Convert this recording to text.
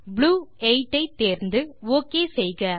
blue 8 ஐ தேர்ந்து ஒக் செய்க